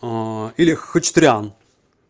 или хачатурян